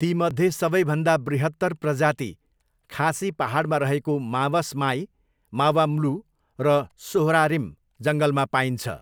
तीमध्ये सबैभन्दा बृहत्तर प्रजाति खासी पाहाडमा रहेको मावसमाई, मावम्लुह र सोहरारिम जङ्गलमा पाइन्छ।